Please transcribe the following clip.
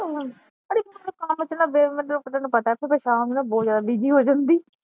ਅੜੀਏ ਕੰਮ ਚ ਤੈਨੂੰ ਪਤਾ ਫਿਰ ਮੈ ਸ਼ਾਮ ਨੂੰ ਨਾ ਬਹੁਤ ਜਿਆਦਾ ਬੀਜੀ ਹੋ ਜਾਂਦੀ